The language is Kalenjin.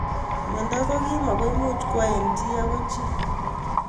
Mnyenot ko kim ako imuch kwo eng chi akoi chi.